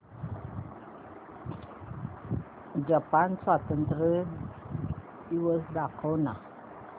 Japan स्वातंत्र्य दिवस दाखव ना